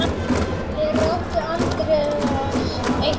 Fyrir átti Andreas eitt barn.